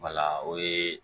o ye